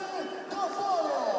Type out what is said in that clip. Vəli Qafarov!